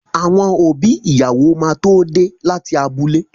Àwọn òbí ìyàwó máa tó dé láti abúlé.